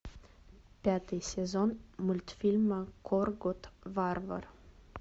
пятый сезон мультфильма коргот варвар